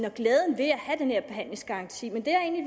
og glæden ved at have den her behandlingsgaranti men det